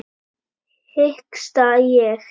hiksta ég.